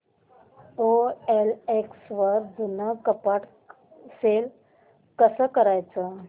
OLX वर जुनं कपाट सेल कसं करायचं